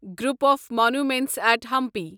group of monuments at Hampi